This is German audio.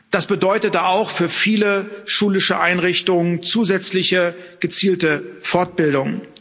Das bedeutete auch für viele schulische Einrichtungen zusätzliche gezielte Fortbildung.